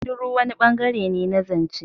Shiru wani bangare ne na zance.